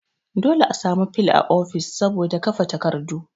Dole a sami fil a office saboda kafe takardu